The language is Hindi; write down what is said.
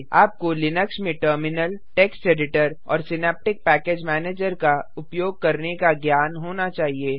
आपको लिनक्स में टर्मिनल टेक्स्ट एडिटर और सिनैप्टिक पैकेज मैनेजर का उपयोग करने का ज्ञान होना चाहिए